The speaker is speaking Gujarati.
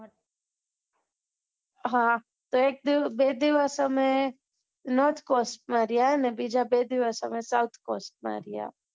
હા તો એક બે દિવસ અમે north cost માં રહ્યા ને બીજા બેદિવસ અમે south cost રહ્યા